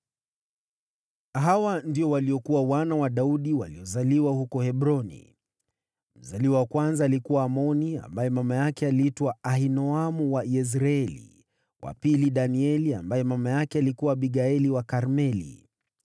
Hawa ndio waliokuwa wana wa Daudi waliozaliwa huko Hebroni: Mzaliwa wa kwanza alikuwa Amnoni ambaye mama yake aliitwa Ahinoamu wa Yezreeli; wa pili, Danieli ambaye mama yake alikuwa Abigaili wa Karmeli;